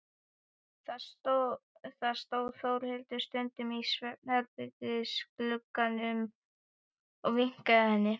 Þá stóð Þórhildur stundum í svefnherbergisglugganum og vinkaði henni.